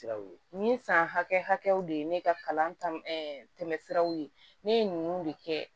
Siraw ye ni san hakɛw de ye ne ka kalan tɛmɛ siraw ye ne ye ninnu de kɛ